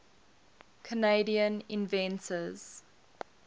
canadian inventors